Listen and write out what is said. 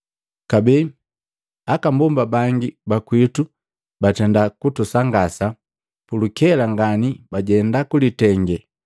Kabee, aka mbomba bangi ba kwitu batenda kutusangasa. Pulukela ngani bajenda kulitenge,